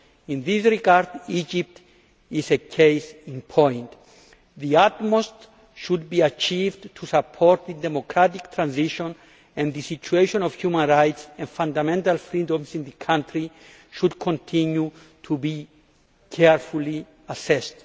In this regard, Egypt is a case in point. The utmost should be achieved to support the democratic transition, and the situation of human rights and fundamental freedoms in the country should continue to be carefully assessed.